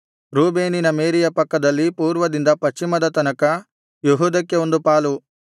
ರೂಬೇನಿನ ಮೇರೆಯ ಪಕ್ಕದಲ್ಲಿ ಪೂರ್ವದಿಂದ ಪಶ್ಚಿಮದ ತನಕ ಯೆಹೂದಕ್ಕೆ ಒಂದು ಪಾಲು